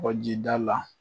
Kɔkɔji da la.